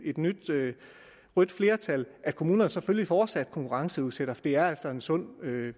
et nyt rødt flertal at kommunerne selvfølgelig fortsat konkurrenceudsætter for det er altså en sund